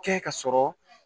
Kɛ ka sɔrɔ